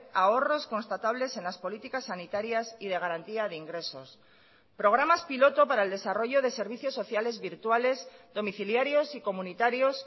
ahorros constatables en las políticas sanitarias y de garantía de ingresos programas piloto para el desarrollo de servicios sociales virtuales domiciliarios y comunitarios